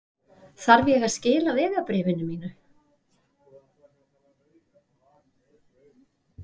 Þarf ég að skila vegabréfinu mínu?